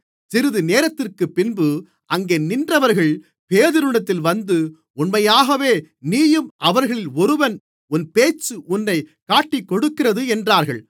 சிறிதுநேரத்திற்குப்பின்பு அங்கே நின்றவர்கள் பேதுருவினிடத்தில் வந்து உண்மையாகவே நீயும் அவர்களில் ஒருவன் உன் பேச்சு உன்னை காட்டிக்கொடுக்கிறது என்றார்கள்